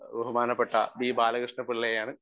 Speaker 1 ബഹുമാനപ്പെട്ട B. ബാലകൃഷ്ണപ്പിള്ളയെയാണ്.